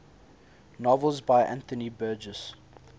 novels by anthony burgess